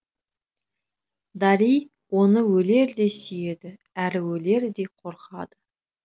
дарий оны өлердей сүйеді әрі өлердей қорқады